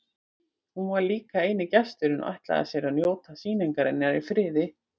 Hún var líka eini gesturinn og ætlaði sér að njóta sýningarinnar í friði.